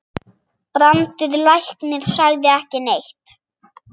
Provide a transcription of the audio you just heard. Brandur læknir sagði ekki neitt.